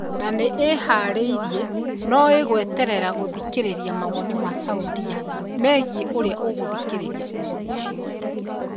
na nĩ ĩhaarĩirie, no ĩgweterera gũthikĩrĩria mawoni ma Saudia megiĩ ũrĩa ĩgũthikĩrĩria ũndũ ũcio.